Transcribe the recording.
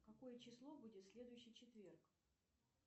какое число будет в следующий четверг